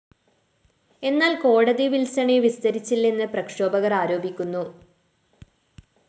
എന്നാല്‍ കോടതി വില്‍സണെ വിസ്തരിച്ചില്ലെന്ന് പ്രക്ഷോഭകര്‍ ആരോപിക്കുന്നു